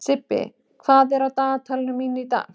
Sibbi, hvað er á dagatalinu mínu í dag?